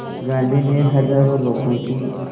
गांधी ने हज़ारों लोगों की